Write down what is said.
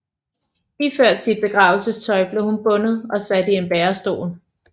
Iført sit begravelsestøj blev hun bundet og sat i en bærestol